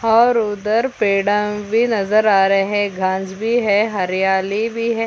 और उधर भी पेड़ा भी नजर आ रहै है घास भी है हरियाली भी हैं।